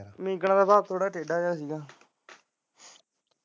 ਦਾ ਸੁਭਾਵ ਥੋੜਾ ਜਿਹਾ ਟੇਢਾ ਸੀ ਗਾ।